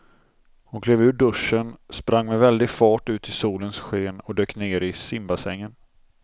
Hon klev ur duschen, sprang med väldig fart ut i solens sken och dök ner i simbassängen.